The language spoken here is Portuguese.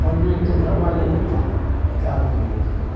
Quando não estou trabalhando, eu estou em casa com a minha esposa.